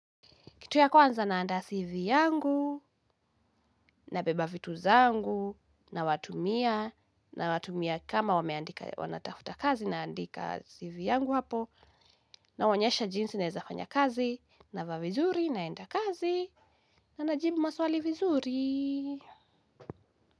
Kitu ya kwanza naandaa CV yangu, nabeba vitu zangu, nawatumia, nawatumia kama wameandika wanatafuta kazi naandika CV yangu hapo, nawaonyesha jinsi naeza fanya kazi, navaa vizuri naenda kazi, na najibu maswali vizuri.